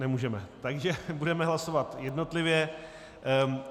Nemůžeme, takže budeme hlasovat jednotlivě.